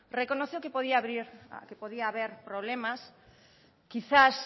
reconoció que podía haber problemas quizás